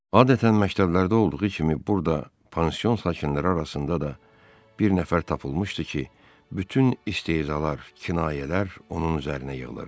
Adətən məktəblərdə olduğu kimi burda pansion sakinləri arasında da bir nəfər tapılmışdı ki, bütün istehzalar, kinayələr onun üzərinə yığılırdı.